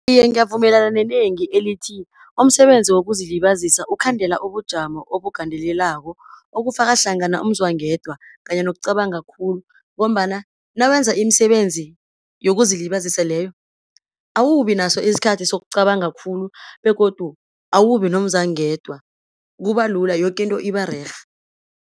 Iye ngiyavumelana nenengi elithi, umsebenzi wokuzilibazisa ukhandela ubujamo obugandelelako, okufaka hlangana umzwangedwa kanye nokucabanga khulu, ngombana nawenza imisebenzi yokuzilibazisa leyo, awubi naso isikhathi sokucabanga khulu, begodu awubi nomzwangedwa, kuba lula yoke into iba rerhe.